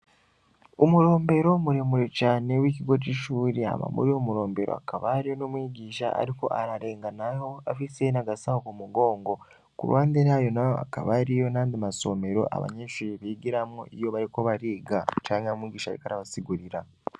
Umurombero muremure cane w’ikigo c’ishuri, hama muri uwo murombero hakaba hariho n’umwigisha ariko ararenganaho, afise n’agasaho ku mugongo; ku ruhande yayo naho hakaba hariho n’ayandi masomero abanyeshure bigiramwo iyo bariko bariga, canke ari umwigisha ariko arabasigurira.